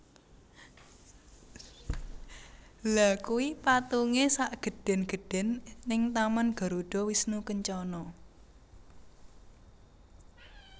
Lha kui patunge sak gedhen gedhen ning taman Garuda Wisnu Kencana